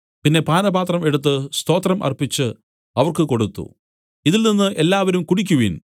പിന്നെ പാനപാത്രം എടുത്തു സ്തോത്രം അർപ്പിച്ച് അവർക്ക് കൊടുത്തു ഇതിൽ നിന്നു എല്ലാവരും കുടിക്കുവിൻ